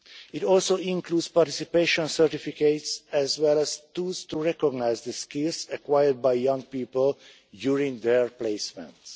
It also includes participation certificates, as well as tools to recognise the skills acquired by young people during their placements.